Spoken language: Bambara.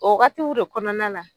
O wagatiw de kɔnɔna la